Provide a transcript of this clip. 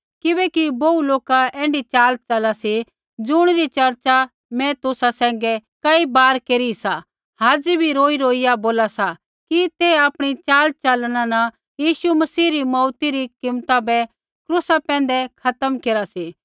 किबैकि बोहू लोका ऐण्ढी चाल चला सी ज़ुणिरी चर्चा मैं तुसा सैंघै कई बार केरी सा हाज़ी भी रौईरौईया बोला सा कि ते आपणी चालचलना न यीशु मसीह री मौऊती री कीमता बै क्रूसा पैंधै खत्म केरा सी